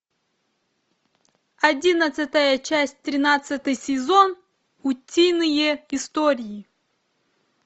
одиннадцатая часть тринадцатый сезон утиные истории